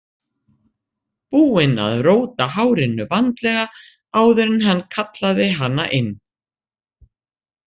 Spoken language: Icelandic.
Búinn að róta hárinu vandlega áður en hann kallaði hana inn.